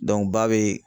ba bɛ